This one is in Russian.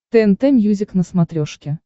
тнт мьюзик на смотрешке